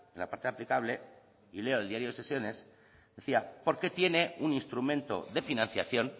la parte aplicable y leo el diario de sesiones decía porque tiene un instrumento de financiación